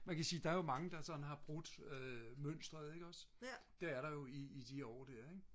man kan sige der er jo mange der sådan har brudt mønstereret det er der jo i de år der ik